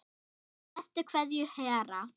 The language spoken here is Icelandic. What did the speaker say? Með bestu kveðju Hera.